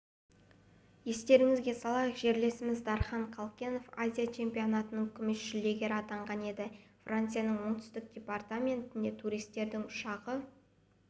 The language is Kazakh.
естеріңізге салайық жерлесіміз дархан қалкенов азия чемпинатының күміс жүлдегері атанған еді францияның оңтүстік департаментінде туристердің ұшағы